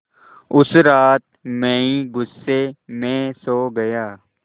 उस रात मैं ग़ुस्से में सो गया